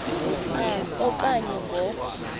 a okanye ngo